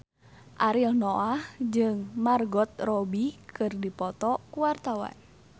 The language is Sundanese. Ariel Noah jeung Margot Robbie keur dipoto ku wartawan